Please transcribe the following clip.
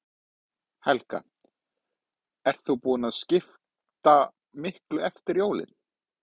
Helga: Ert þú búin að skipta miklu eftir jólin?